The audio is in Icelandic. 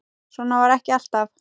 Svo var ekki alltaf.